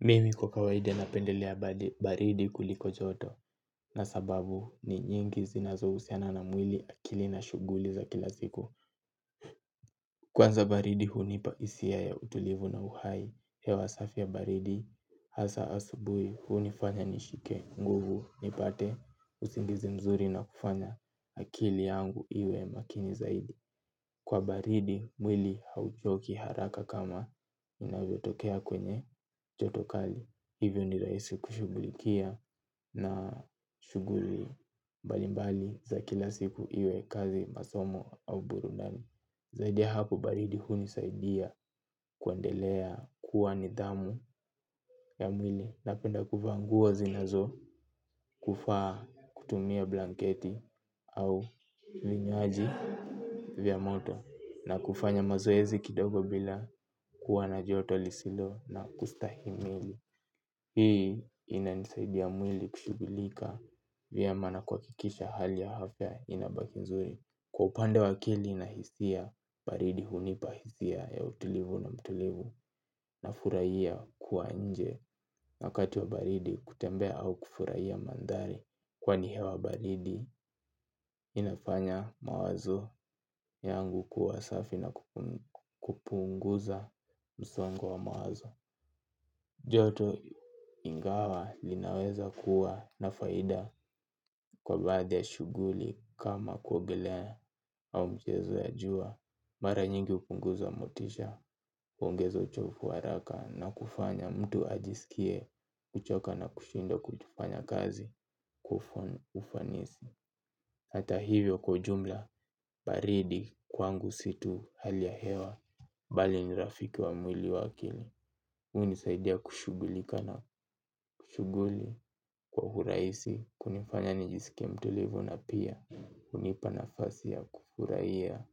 Mimi kwa kawaida na pendelea baridi kuliko joto. Na sababu ni nyingi zinazo usiana na mwili akili na shuguli za kila siku. Kwanza baridi hunipa hisia ya utulivu na uhai. Hewa safi ya baridi hasa asubui hunifanya nishike nguvu nipate usingizi mzuri na kufanya akili yangu iwe makini zaidi. Kwa baridi mwili hauchoki haraka kama inavyo tokea kwenye jotokali. Hivyo niraisi kushugulikia na shuguri mbalimbali za kila siku iwe kazi masomo au burundani. Zaidi ya hapo baridi huni saidia kuendelea kuwa nidhamu ya mwili. Napenda kuvaa nguo zinazo kufaa kutumia blanketi au linywaji vya moto. Na kufanya mazoezi kidogo bila kuwa na joto lisilo na kustahimili. Hii ina nisaidia mwili kushugulika vyema na kuhakikisha hali ya afya inabaki nzuri. Kwa upande wa akili na hisia baridi hunipa hisia ya utulivu na mtulivu na furahia kuwa nje wakati wa baridi kutembea au kufurahia mandari. Kwa ni hewa baridi inafanya mawazo yangu kuwasafi na kupunguza msongo wa mawazo. Joto ingawa linaweza kuwa nafaida kwa baadhi ya shuguli kama kuogelea au mchezo ya jua. Mara nyingi upunguza motisha, uongeza uchofu wa haraka na kufanya mtu ajisikie kuchoka na kushinda kuchufanya kazi ufanisi. Hata hivyo kwa ujumla, baridi kwangu situ hali ya hewa, bali nirafiki wa mwili wakili. Unisaidia kushugulika na kushuguli kwa huraisi, kunifanya nijisike mtulivu na pia unipanafasi ya kufuraiya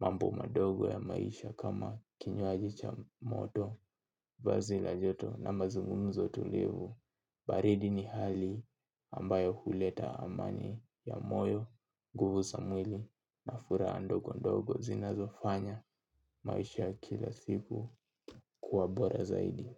mambo madogo ya maisha kama kinywajicha moto, vazila joto na mazungunzo tulivu. Baridi ni hali ambayo huleta amani ya moyo, guvu samwili na furaha ndogo ndogo zinazofanya maisha ya kila siku kuwa bora zaidi.